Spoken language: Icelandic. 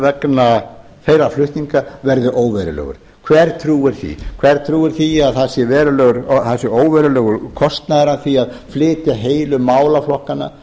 vegna þeirra flutninga verði óverulegur hver trúir því hver trúir því að það sé óverulegur kostnaður að því að flytja heilu málaflokkana